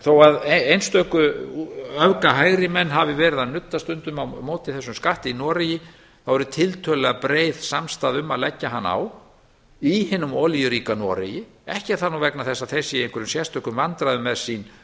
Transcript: þó að einstöku öfgahægri menn hafi verið að nudda stundum á móti þessum skatti í noregi þá eru tiltölulega breið samstaða um að leggja hann á í hinum olíuríka noregi ekki er það nú vegna þess að þeir séu í einhverjum sérstökum vandræðum með sín